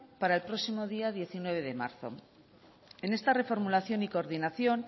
para el próximo día diecinueve de marzo en esta reformulación y coordinación